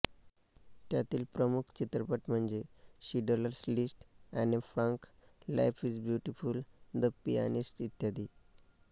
त्यातील प्रमुख चित्रपट म्हणजे Schindler's list Anne Frank life is beautiful the pianist इत्यादी